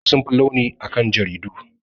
Mujallu sun fi launi akan jaridu.